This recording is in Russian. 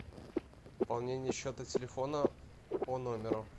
пополнение счета телефона по номеру